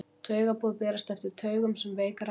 taugaboð berast eftir taugum sem veik rafboð